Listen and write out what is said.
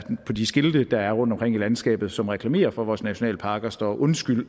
på de skilte der er rundtomkring i landskabet og som reklamerer for vores nationalparker står undskyld